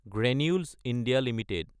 Granules India Ltd